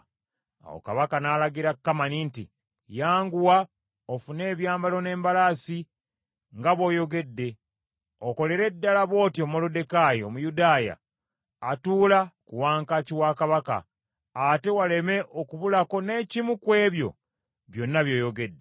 Awo Kabaka n’alagira Kamani nti, “Yanguwa ofune ebyambalo n’embalaasi nga bw’oyogedde, okolere ddala bw’otyo Moluddekaayi Omuyudaaya atuula ku wankaaki wa Kabaka, ate waleme okubulako n’ekimu ku ebyo byonna by’oyogedde.”